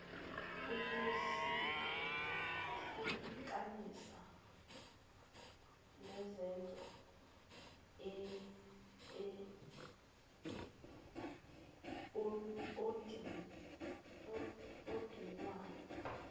ukusihlukanisa wazenza odinwayo